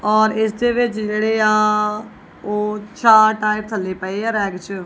ਔਰ ਇਸ ਦੇ ਵਿੱਚ ਜਿਹੜੇ ਆ ਉਹ ਚਾਰ ਟਾਈਰ ਥੱਲੇ ਪਏ ਆ ਰੈਕ ਚ।